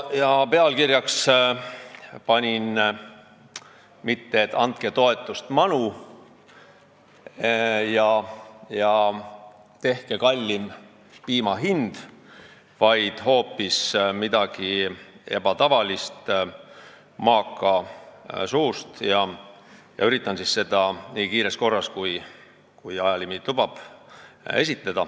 Ja pealkirjaks panin mitte "Andke toetust manu!" ja "Tehke kallim piima hind!", vaid hoopis midagi ebatavalist maaka suust ja üritan seda siin esitleda nii kiires korras, kui ajalimiit lubab.